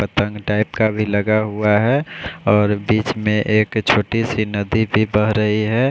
पता नहीं टाइप का भी लगा हुआ है और बीच में एक छोटी सी नदी भी बह रही है।